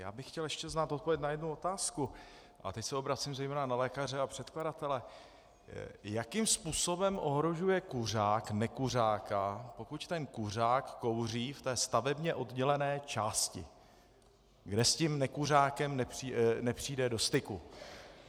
Já bych chtěl ještě znát odpověď na jednu otázku, a teď se obracím zejména na lékaře a předkladatele: jakým způsobem ohrožuje kuřák nekuřáka, pokud ten kuřák kouří v té stavebně oddělené části, kde s tím nekuřákem nepřijde do styku?